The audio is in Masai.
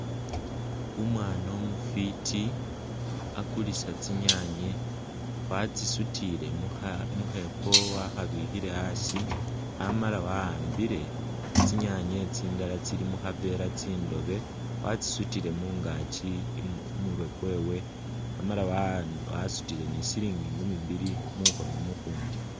Umwana umufiti akulisa tsi nyanye watsisuzile mu’khepo wakhabikhile asi amala wa’ambile tsi’nyanye tsindala tsili mukhavela tsindobe watsisutile mungakyi khumurwe kwewe amala asutile no silingi nkumi bili mukhono mukhundi .